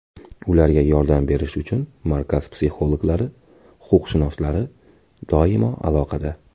Ularga yordam berish uchun markaz psixologlari, huquqshunoslari doimo aloqada.